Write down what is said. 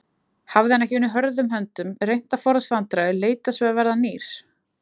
Hafði hann ekki unnið hörðum höndum, reynt að forðast vandræði, leitast við að verða nýr?